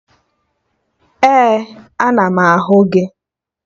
Ee, ana m ahụ gị